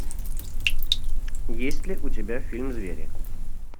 есть ли у тебя фильм звери